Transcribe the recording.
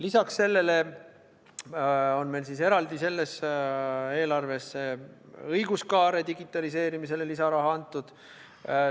Lisaks sellele on meil eraldi selles eelarves õiguskaare digitaliseerimisele lisaraha antud.